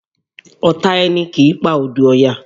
Ọ̀tá ẹni kì í pa odù Ọya